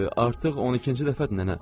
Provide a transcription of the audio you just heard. Artıq 12-ci dəfədir nənə.